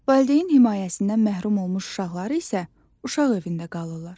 Valideyn himayəsindən məhrum olmuş uşaqlar isə uşaq evində qalırlar.